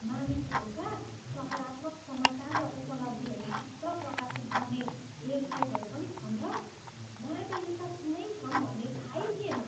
मानिसहरूका सकारात्मक समाचार र उपलब्धिहरू मात्र प्रकाशित गर्ने वेबसाइटहरू पनि छन् र? मलाई त यस्ता कुनै छन् भन्ने थाहै थिएन।